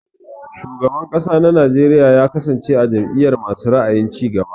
Shugaban kasa na Najeriya ya kasance a jam'iyar masu ra'ayin cigaba.